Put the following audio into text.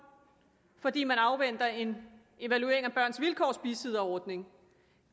fordi man afventer en evaluering af børns vilkårs bisidderordning